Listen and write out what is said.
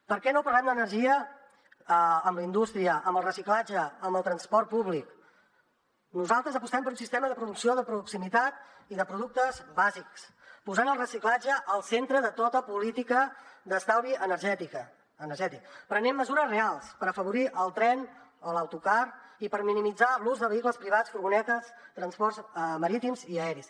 per què no parlem d’energia amb la indústria amb el reciclatge amb el transport públic nosaltres apostem per un sistema de producció de proximitat i de productes bàsics posant el reciclatge al centre de tota política d’estalvi energètic prenent mesures reals per afavorir el tren o l’autocar i per minimitzar l’ús de vehicles privats furgonetes i transports marítims i aeris